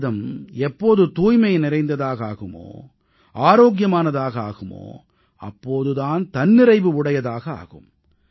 பாரதம் எப்போது தூய்மை நிறைந்ததாக ஆகுமோ ஆரோக்கியமானதாக ஆகுமோ அப்போது தான் தன்னிறைவுடையதாக ஆகும்